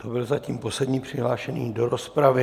To byl zatím poslední přihlášený do rozpravy.